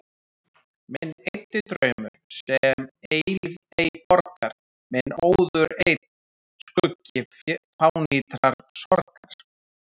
Minn eyddi draumur, sem eilífð ei borgar, minn óður einn skuggi fánýtrar sorgar.